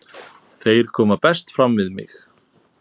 Þeir koma best fram við mig.